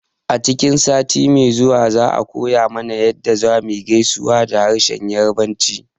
A cikin sati mai ziwa za a koya mana yadda zamuyi gaisuwa da harshen yarbanci